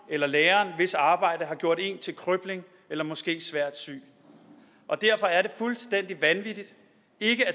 eller læreren hvis arbejde har gjort en til krøbling eller måske svært syg og derfor er det fuldstændig vanvittigt ikke at